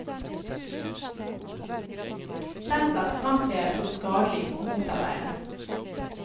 Den slags ansees som skadelig, og motarbeides.